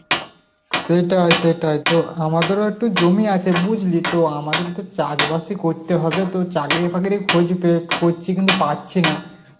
সেটাই সেটাই, তো আমাদেরও একটু জমি আছে বুঝলি, তো আমাদের তো চাষবাসই করতে হবে তো চাকরি বাকরির খোঁজ পে~ করছি কিন্তু পাচ্ছিনা